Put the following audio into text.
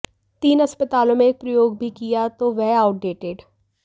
तीन अस्पतालों में एक प्रयोग भी किया तो वह आउटडेटेड